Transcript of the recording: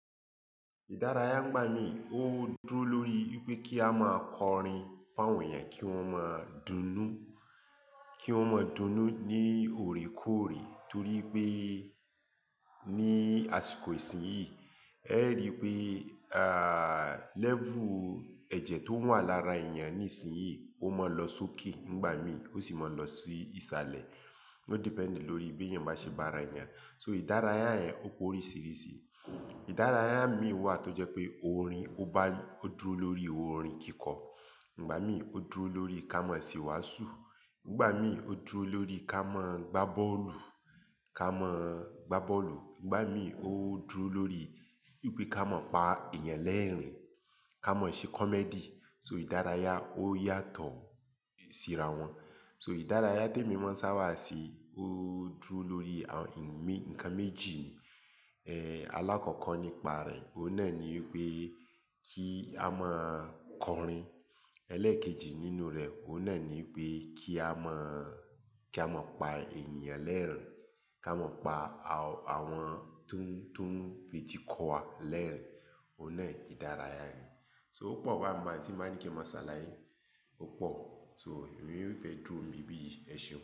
Ìdárayá ńgbà míi, ó dúró lórí wípé kí a máa kọrin fún àwọn èèyàn kí wón máa dunnú, kí wón máa dunnú ní òòrèkóòrè torí pé ní àsìkò ìsinyíi ẹ ríi pé à, lẹ́vù ẹ̀jẹ̀ tó wà lára èèyàn nísinsìnyí ó máa ń lọ sókè ń'gbà mí, ó sì máa ń lọ sí ìsàlẹ̀. Ó dependi lórí bí ẹ̀yin bá ṣe bá ara èèyàn. So ìdárayá yẹn ó p'oríṣìrísìí. Ìdárayá míi wà tó jẹ́ pé orin ó ba, ó dúró lórí orin kíkọ, igbà míì ó dúró lórí ká ma se'wàásù, ńgbà míi ó dúró lórí ká ma gbá bọ́ọ̀lù, ká mọ gbá bọ́ọ̀lù, ń'gbà mí ó dúró lórí wípé ká maá pa èèyàn lẹ́ẹ̀rín, ká mä ṣe komẹdì. So ìdárayá ó yàtọ̀ síra wọn. So ìdárayá tí èmi máa ń sábà ṣe ó dúró lórí àwọn ǹkan méjì ni. Èé, alákọ̀ọ́kọ́ nípa rẹ̀, òun náà ni wípé kí a máa kọrin. Elékèjì nínú rẹ̀, òun náà ni wípé kí á máa, kí á máa pa ènìyàn lẹ́ẹ̀rín, kí á máa pa àwọn tó ń, tó ń feti kọ wa lẹ́ẹ̀rín, òun náà ìdárayá ni. So ó pọ̀ báhun máa tí nbá ní kí n máa ṣàlàyé, ó pọ̀. So èmi yóò fẹ́ dúró níbí yìí, ẹ ṣeun.